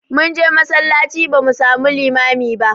Mun je masallaci ba mu samu limami ba